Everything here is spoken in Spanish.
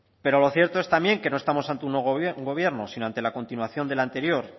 pero lo cierto es también que no estamos ante un nuevo gobierno sino ante la continuación del anterior